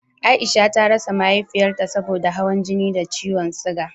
Aisha ta rasa Mahaifiyarta saboda hawan jini da ciwon suga